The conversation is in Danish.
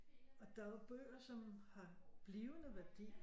Og der er jo bøger som har blivende værdi og